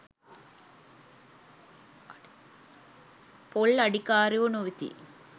පොල් අඩිකාරයෝ නොවෙති.